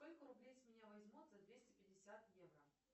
сколько рублей с меня возьмут за двести пятьдесят евро